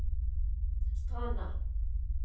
Stranda